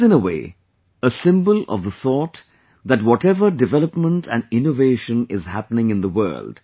It is in a way a symbol of the thought that whatever development and innovation is happening in the world